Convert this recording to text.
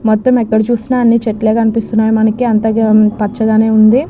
మొత్తం ఎక్కడ చూసినా అన్నిచెట్లు కనిపిస్తున్నాయి మనకి అంత పచ్చగా ఉంది.